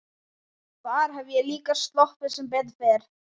Þar hef ég líka sloppið sem betur fer.